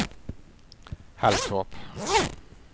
Halltorp